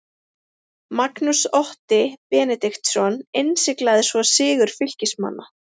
Magnús Otti Benediktsson innsiglaði svo sigur Fylkismanna.